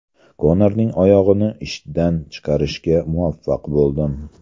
Konorning oyog‘ini ishdan chiqarishga muvaffaq bo‘ldim.